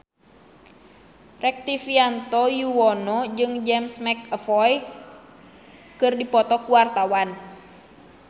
Rektivianto Yoewono jeung James McAvoy keur dipoto ku wartawan